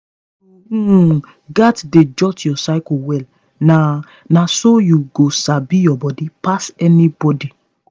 you um gats dey jot your cycle well na na so you go sabi your body pass anybody.